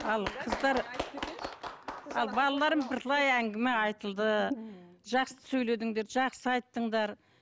ал қыздар ал балаларым бірталай әңгіме айтылды жақсы сөйледіңдер жақсы айттыңдар